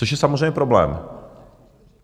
Což je samozřejmě problém.